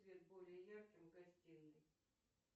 свет более ярким в гостинной